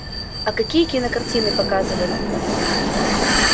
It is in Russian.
а какие кинокартины показывали